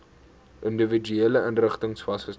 individuele inrigtings vasgestel